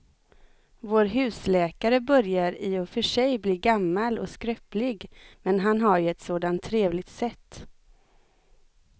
Vår husläkare börjar i och för sig bli gammal och skröplig, men han har ju ett sådant trevligt sätt!